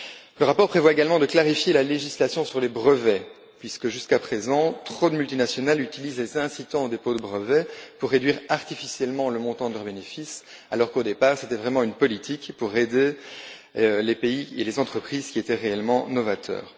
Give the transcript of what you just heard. Le rapport prévoit également de clarifier la législation sur les brevets, puisque jusqu'à présent, trop de multinationales utilisent les mesures incitatives au dépôt de brevets pour réduire artificiellement le montant de leurs bénéfices, alors qu'au départ, il s'agissait vraiment d'une politique visant à aider les pays et les entreprises qui étaient réellement novateurs.